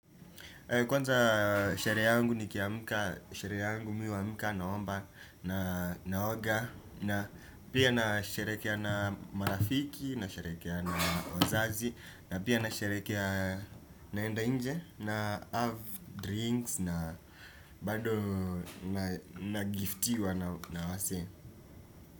Kwanza sheria yangu nikiamka, sherehe yangu nikiamka naomba na naoga. Na pia nasherehekea na marafiki, na nasherehekea na wazazi. Na pia nasherehekea naenda nje, na have drinks na bado na giftiwa na wasee.